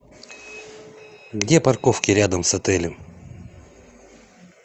где парковки рядом с отелем